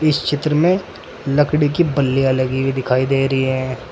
इस चित्र में लकड़ी की बल्लीया लगी हुई दिखाई दे रही हैं।